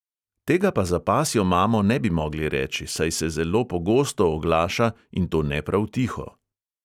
Tega pa za pasjo mamo ne bi mogli reči, saj se zelo pogosto oglaša, in to ne prav tiho.